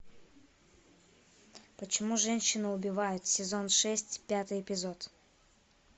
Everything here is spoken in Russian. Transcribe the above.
почему женщины убивают сезон шесть пятый эпизод